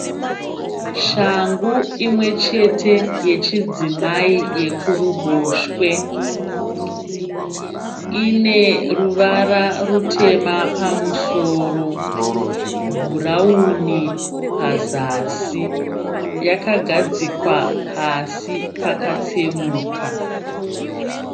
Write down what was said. Shangu imwe chete yechidzimai yekuruboshwe. Ine ruvara rutema pamusoro bhurawuni pazasi. Yakagadzikwa pasi pakatsemuka.